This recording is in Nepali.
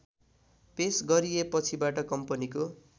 पेश गरिएपछिबाट कम्पनीको